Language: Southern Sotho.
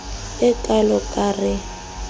e kalo ka r e